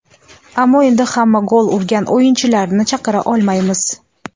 Ammo endi hamma gol urgan o‘yinchilarni chaqira olmaymiz.